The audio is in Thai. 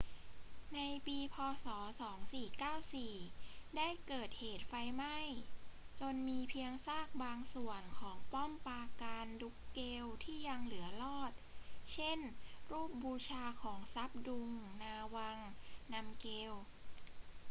ในปี พ. ศ. 2494 ได้เกิดเหตุไฟไหม้จนมีเพียงซากบางส่วนของป้อมปราการดรุ๊กเกลที่ยังเหลือรอด เช่น รูปบูชาของซับดุง นาวัง นำเกล